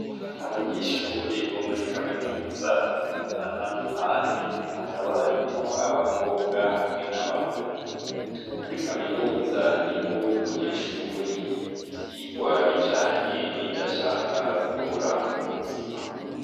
Abanyeshuri bo muri kaminuza, batandukanye ,hakaba harimwo abakobwa hamwe n'abahungu. Muri kaminuza ni ho umunyeshuri y'igivyigwa bijanye n'ivyo ashaka gukora mu buzima.